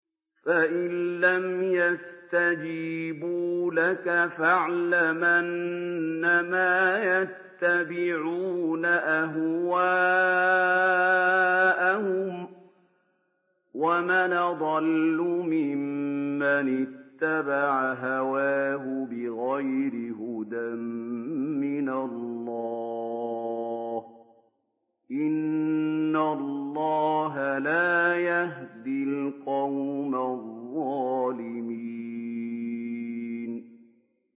فَإِن لَّمْ يَسْتَجِيبُوا لَكَ فَاعْلَمْ أَنَّمَا يَتَّبِعُونَ أَهْوَاءَهُمْ ۚ وَمَنْ أَضَلُّ مِمَّنِ اتَّبَعَ هَوَاهُ بِغَيْرِ هُدًى مِّنَ اللَّهِ ۚ إِنَّ اللَّهَ لَا يَهْدِي الْقَوْمَ الظَّالِمِينَ